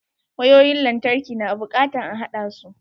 Wayoyin lantarki na bukatan a haɗasu.